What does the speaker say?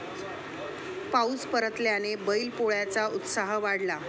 पाऊस परतल्याने बैल पोळ्याचा उत्साह वाढला